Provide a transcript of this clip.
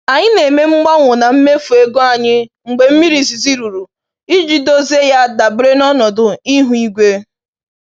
Anyị na-eme mgbanwe na mmefu ego anyị mgbe mmiri izizi rụrụ, iji dozie ya dabere na ọnọdụ ihu igwe.